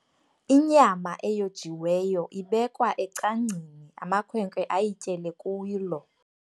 Inyama eyojiweyo ibekwa ecangcini amakhwenkwe ayityele kulo.